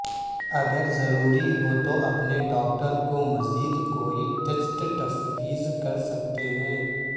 اگر ضروری ہو تو اپنے ڈاکٹر کو مزید کوئی ٹیسٹ تفویض کر سکتے ہیں